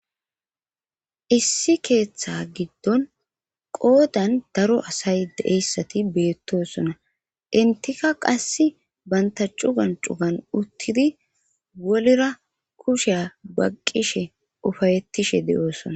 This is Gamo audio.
Issi keeththa giddon qoodan daro asay deeyssati beettosona intika qasse banta cugan cugan uttidi wolira kusheya baqqishe ufayettishe d'oosona.